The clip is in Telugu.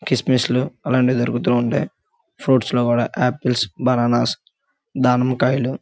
కిస్మిస్ లు అలాంటివి దొరుకుతూ ఉంటాయ్. ఫ్రూప్ట్స్ లో కూడా ఆపిల్స్ బనానాస్ దానిమ్మకాయలు --